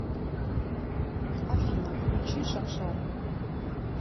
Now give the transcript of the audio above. афина включи шаншара